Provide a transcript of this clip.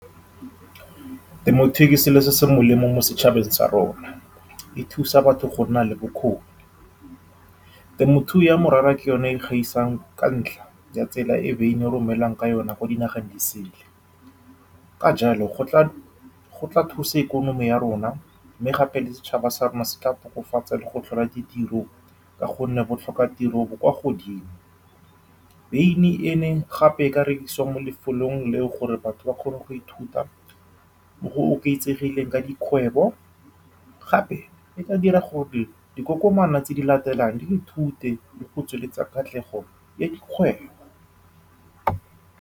Temothuo ke selo se se molemo mo setšhabeng sa rona, e thusa batho go nna le bokgoni. Temothuo ya morara ke yone e gaisang ka ntlha ya tsela e beine e romelwang ka yone ko dinageng di sele, ka jalo gotla-gotla e thusa ikonomi ya rona. Gape, setšhaba sa rona se ka tokafatsa le go tlhola ditiro ka gonne botlhokatiro bo kwa godimo. Beine gape e ka rekisiwa mo lefolong leo, gore batho ba kgone go ithuta go oketsegileng ka dikgwebo. Gape e ka dira gore dikokomana tse di latelang di ithute le go tsweletsa katlego ya dikgwebo.